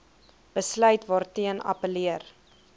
besluit waarteen geappelleer